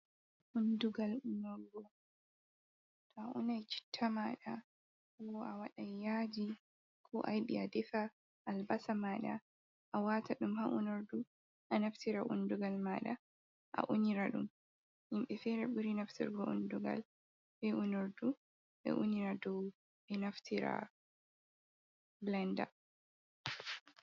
Undugal unorgo, to a unay citta maaɗa wo a waday yaaji koo a yiɗi a defa "albasa" maaɗa, a waata ɗum ha unordu a naftira undugal maaɗa a unira ɗum. Himɓe feere ɓuri naftirgo undugal bee unordu ɓe unira dow ɓe naftira "bilanda".